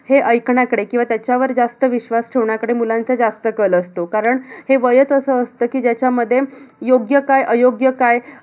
हे ऐकण्याकडे किंवा त्याच्यावर जास्त विश्वास ठेवण्याकडे मुलांचा जास्त कल असतो. कारण हे वयचं असं असतं की, ज्याच्यामध्ये योग्य काय, अयोग्य काय